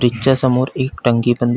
bridge च्या समोर एक टंकी पण दि--